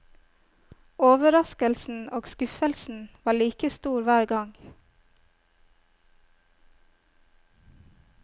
Overraskelsen og skuffelsen var like stor hver gang.